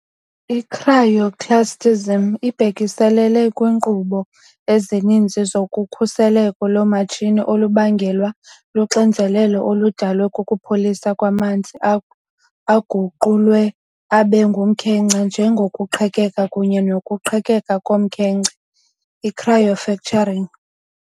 I-Cryoclastism ibhekiselele kwiinkqubo ezininzi zokhukuliseko lomatshini olubangelwa luxinzelelo oludalwe kukupholisa kwamanzi aguqulwe abe ngumkhenkce, njengokuqhekeka kunye nokuqhekeka komkhenkce, i-cryofracturing.